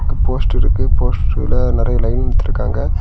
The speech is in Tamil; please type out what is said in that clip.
போஸ்டர் இருக்கு போஸ்டர்ல நெறைய லைன் இழுத்துருக்காங்க.